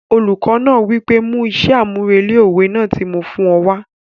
Olùkọ náà wí pé 'mú iṣẹ́ àmúrelé òwe náà tí mo fún ọ wá'